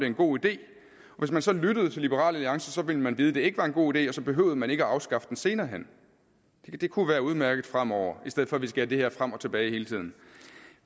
en god idé og hvis man så lyttede til liberal alliance ville man vide at det ikke var en god idé og så behøvede man ikke afskaffe den senere hen det kunne være udmærket fremover i stedet for at vi skal have det her frem og tilbage hele tiden